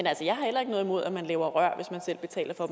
altså jeg har heller ikke noget imod at man laver rør hvis man selv betaler for